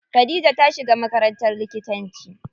Khadija ta shiga makarantar likitanci.